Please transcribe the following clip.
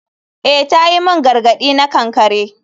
Eh ta yi min gargadi na kankare.